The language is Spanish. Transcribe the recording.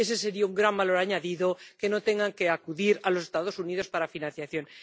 Ese sería un gran valor añadido que no tengan que acudir a los Estados Unidos para la financiación.